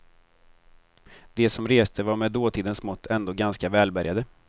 De som reste var med dåtidens mått ändå ganska välbärgade.